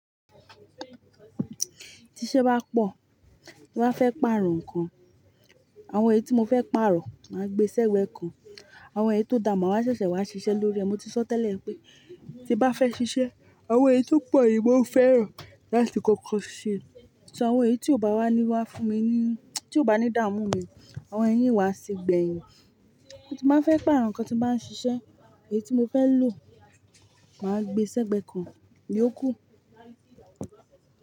Ti iṣẹ́ bá pọ̀, tí bá fẹ́ pààrọ̀ nǹkan, àwọn èyí tí mo fẹ́ pààrọ̀, màá gbé sẹ́gbẹ́ kan. Àwọn èyí tó dàà máa wa ṣẹ̀ṣẹ̀ wá ṣiṣẹ́ lórí ẹ̀. Mo ti sọ tẹ́lẹ̀ pé tí bá fẹ́ ṣiṣẹ́, àwọn èyí tó pọ̀ ni mo fẹ́ràn láti kankan ṣe. Ṣọ àwọn èyí tí ò bá wá ní wá fún mi ní, tí ò bá ní dààmú mi, àwọn ẹyi n wá sí gbẹ̀yìn. Mo ti máa ń fẹ́ pààrọ̀ nǹkan tí màá ń ṣiṣẹ́, èyí tí mo fẹ́ lò, màá gbé sẹ́gbẹ́ kan, íyókù.